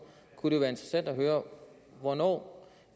hvornår